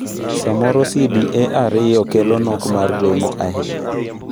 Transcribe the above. Samoro CDA 2 kelo nok mar remo ahinya.